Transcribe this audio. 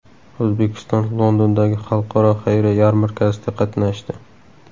O‘zbekiston Londondagi Xalqaro xayriya yarmarkasida qatnashdi.